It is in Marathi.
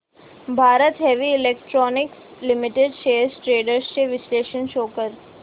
Bharat heavy electricals limited shares trends चे विश्लेषण शो कर